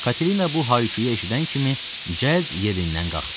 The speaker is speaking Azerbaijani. Katina bu hay-küyü eşidən kimi cəld yerindən qalxdı.